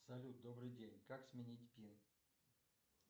салют добрый день как сменить пин